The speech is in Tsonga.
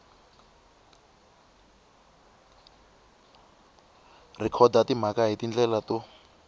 rhekhoda timhaka hi tindlela to